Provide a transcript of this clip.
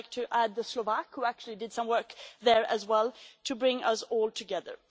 I would like to add the Slovak Presidency, which actually did some work there as well, to bring us all together.